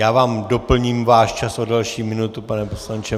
Já vám doplním váš čas o další minutu, pane poslanče.